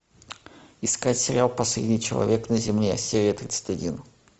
искать сериал последний человек на земле серия тридцать один